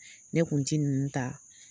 Ne kun ti ninnu ta